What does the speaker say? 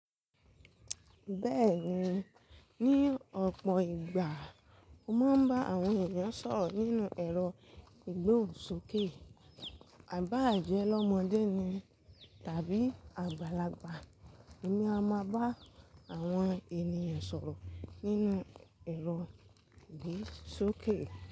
Bẹ́ẹ̀ni, ní ọ̀pọ̀ ìgbà mo máa ń bá àwọn èèyàn sọ̀rọ̀ nínú ẹ̀rọ ìgbóhùn sókè. À bá à jẹ́ lọ́mọdé ni tàbí àgbàlagbà, èmi a máa bá àwọn ènìyàn sọ̀rọ̀ nínú ẹ̀rọ ìgbóhùn sókè.